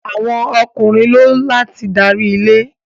Awọn Ọkùnrin ló láti darí ìdílé